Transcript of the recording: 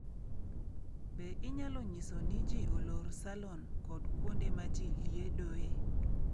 Be inyalo nyiso ni ji olor salon kod kuonde ma ji liedoe?